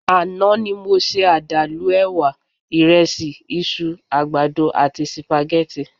Àná ni mo se àdàlù ẹ̀wà, ìrẹsì, iṣu, àgbàdo àti sípágìì